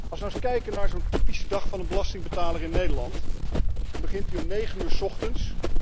Als we nu eens kijken naar zo'n typische dag van de belastingbetaler in Nederland dan begint die om negen uur 's ochtends.